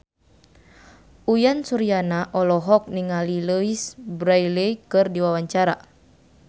Uyan Suryana olohok ningali Louise Brealey keur diwawancara